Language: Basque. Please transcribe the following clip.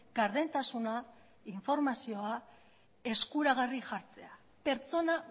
gardentasuna informazioa eskuragarri jartzea pertsona